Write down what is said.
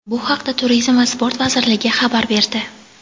Bu haqda Turizm va sport vazirligi xabar berdi.